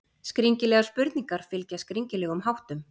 Skringilegar spurningar fylgja skringilegum háttum.